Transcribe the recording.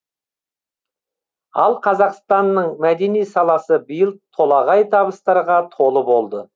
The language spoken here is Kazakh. ал қазақстанның мәдени саласы биыл толағай табыстарға толы болды